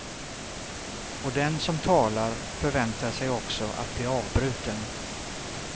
Och den som talar förväntar sig också att bli avbruten.